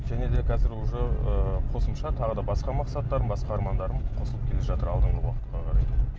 және де қазір уже ыыы қосымша тағы да басқа мақсаттарым басқа армандарым қосылып келе жатыр алдыңғы уақытқа қарай